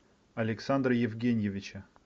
александра евгеньевича